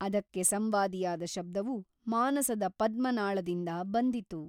ಅದಕ್ಕೆ ಸಂವಾದಿಯಾದ ಶಬ್ದವು ಮಾನಸದ ಪದ್ಮನಾಳದಿಂದ ಬಂದಿತು.